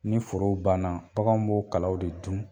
Ni forow banna, baganw b'o kalaw de dun